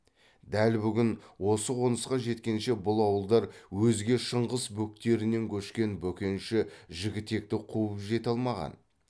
дәл бүгін осы қонысқа жеткенше бұл ауылдар өзге шыңғыс бөктерінен көшкен бөкенші жігітекті қуып жете алмаған